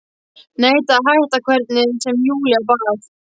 Neitaði að hætta hvernig sem Júlía bað.